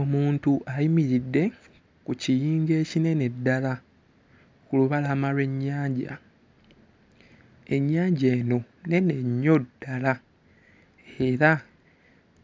Omuntu ayimiridde ku kiyinja ekinene ddala ku lubalama lw'ennyanja. Ennyanja eno nnene nnyo ddala era